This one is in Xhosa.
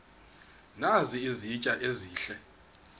nazi izitya ezihle